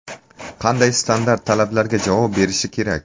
Qanday standart talablarga javob berishi kerak?